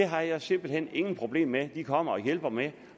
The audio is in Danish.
har simpelt hen ingen problemer med at de kommer og hjælper med at